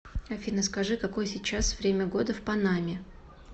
афина скажи какое сейчас время года в панаме